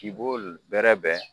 K'i b'o bɛrɛ bɛn